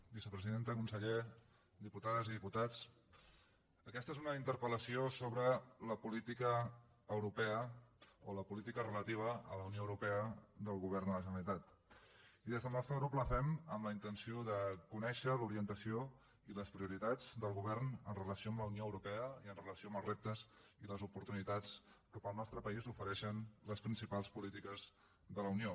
vicepresidenta conseller diputades i diputats aquesta és una interpel·lació sobre la política europea o la política relativa a la unió europea del govern de la generalitat i des del nostre grup la fem amb la intenció de conèixer l’orientació i les prioritats del govern en relació amb la unió europea i en relació amb els reptes i les oportunitats que per al nostre país ofereixen les principals polítiques de la unió